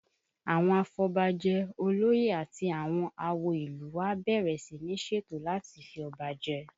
Àwọn afọbajẹ, olóyè àti àwọn àwo ìlú u wa bẹ̀rẹ̀ sí ní ṣètò láti fi ọba jẹ